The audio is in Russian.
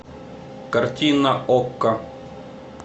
картина окко